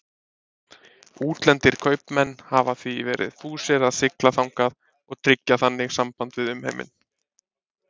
Útlendir kaupmenn hafa því verið fúsir að sigla þangað og tryggja þannig samband við umheiminn.